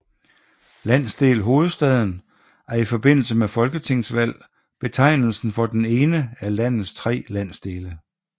Landsdel Hovedstaden er i forbindelse med folketingsvalg betegnelsen for den ene af landets tre landsdele